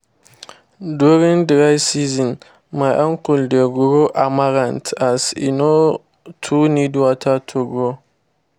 durign dry season my uncle dey grow amaranth as e no too need water to grow